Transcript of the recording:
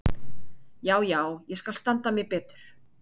Já, já, ég skal standa mig betur.